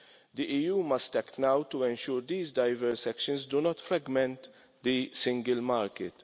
The EU must act now to ensure these diverse actions do not fragment the single market.